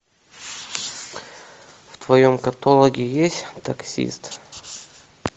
в твоем каталоге есть таксист